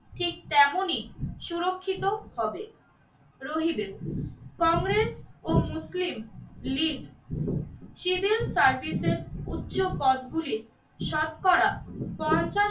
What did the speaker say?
ঠিক তেমনই সুরক্ষিত হবে রহিবে। কংগ্রেস ও মুসলিম লীগ সিডিল সার্ভিসের উচ্চ পদগুলি শতকরা পঞ্চাশটি